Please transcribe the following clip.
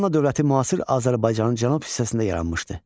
Manna dövləti müasir Azərbaycanın cənub hissəsində yaranmışdı.